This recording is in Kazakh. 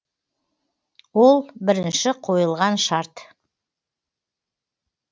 ол бірінші қойылған шарт